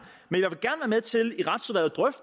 men